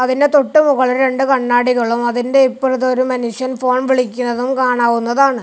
അതിന് തൊട്ട് മുകളിൽ രണ്ട് കണ്ണാടികളും അതിൻ്റെ ഇപ്പറത്ത് ഒരു മനുഷ്യൻ ഫോൺ വിളിക്കുന്നതും കാണാവുന്നതാണ്.